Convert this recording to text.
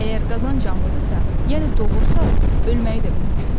Əgər qazan canlıdırsa, yəni doğursa, ölməyi də mümkündür.